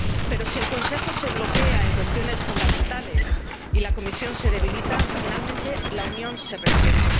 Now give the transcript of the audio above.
Pero si el Consejo se bloquea en cuestiones fundamentales y la Comisión se debilita, finalmente, la Unión se resiente.